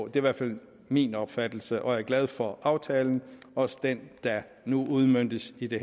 i hvert fald min opfattelse og jeg er glad for aftalen også den der nu udmøntes i det